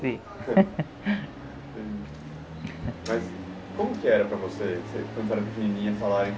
Mas como que era para você, que você quando era pequenininha falarem